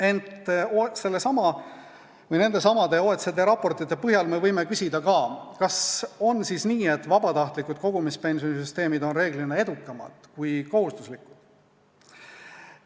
Ent sellesama või nendesamade OECD raportite põhjal võime küsida ka seda, et kas on siis nii, et vabatahtliku kogumispensioni süsteemid on reeglina edukamad kui kohustuslikud.